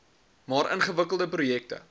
maar ingewikkelde projekte